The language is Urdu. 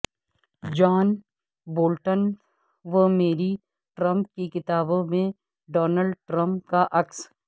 جان بولٹن و میری ٹرمپ کی کتابوں میں ڈونلڈ ٹرمپ کا عکس